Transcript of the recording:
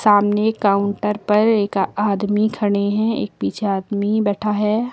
सामने काउंटर पर एक आदमी खड़े हैं एक पीछे आदमी बैठा है।